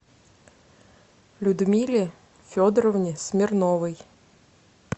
людмиле федоровне смирновой